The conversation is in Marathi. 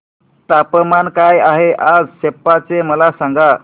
तापमान काय आहे आज सेप्पा चे मला सांगा